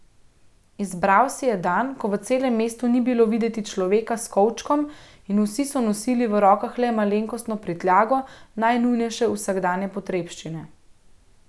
Izbral si je dan, ko v celem mestu ni bilo videti človeka s kovčkom in so vsi nosili v rokah le malenkostno prtljago, najnujnejše vsakdanje potrebščine.